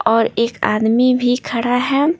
और एक आदमी भी खड़ा है।